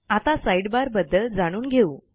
आता साइडबार बद्दल जाणून घेऊ